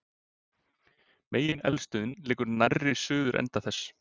megineldstöðin liggur nærri suðurenda þess